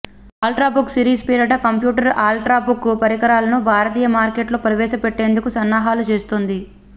ultrabook series పేరిట computer ultrabook పరికరాలను భారతీయ మార్కెట్లో ప్రవేశపెట్టేందుకు సన్నాహాలు చేస్తుంది